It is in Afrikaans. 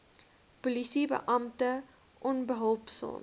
polisie beampte onbehulpsaam